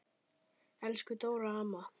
Elsku Dóra amma.